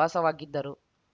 ವಾಸವಾಗಿದ್ದರು